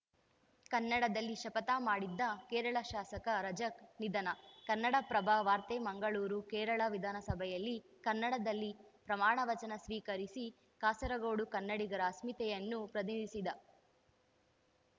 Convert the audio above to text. ಕನ್ನಡದಲ್ಲಿ ಶಪಥ ಮಾಡಿದ್ದ ಕೇರಳ ಶಾಸಕ ರಜಾಕ್‌ ನಿಧನ ಕನ್ನಡಪ್ರಭ ವಾರ್ತೆ ಮಂಗಳೂರು ಕೇರಳ ವಿಧಾನಸಭೆಯಲ್ಲಿ ಕನ್ನಡದಲ್ಲಿ ಪ್ರಮಾಣ ವಚನ ಸ್ವೀಕರಿಸಿ ಕಾಸರಗೋಡು ಕನ್ನಡಿಗರ ಅಸ್ಮಿತೆಯನ್ನು ಪ್ರತಿನಿಧಿಸಿದ್ದ